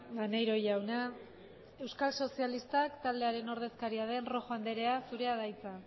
maneiro jauna euskal sozialistak taldearen ordezkaria den rojo andrea zurea da hitza